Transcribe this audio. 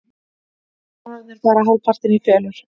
Bananarnir fara hálfpartinn í felur.